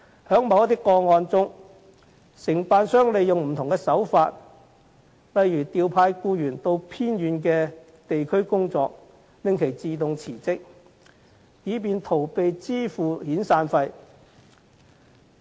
在某些個案中，承辦商利用不同手法，例如調派僱員到偏遠地區工作，令其自動辭職，以逃避支付遣散費。